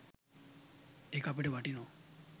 ඒක අපිට වටිනවා.